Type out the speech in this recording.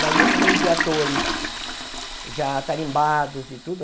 Imagina no meio de atores já tarimbados e tudo.